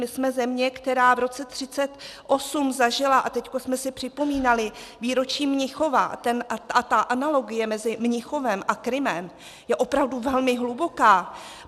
My jsme země, která v roce 1938 zažila - a teď jsme si připomínali výročí Mnichova a ta analogie mezi Mnichovem a Krymem je opravdu velmi hluboká.